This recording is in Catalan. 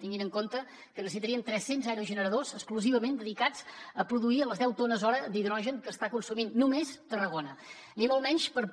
tinguin en compte que necessitaríem tres cents aerogeneradors exclusivament dedicats a produir les deu tones hora d’hidrogen que està consumint només tarragona ni molt menys per